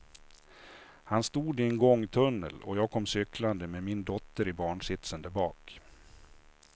Han stod i en gångtunnel och jag kom cyklande med min dotter i barnsitsen där bak.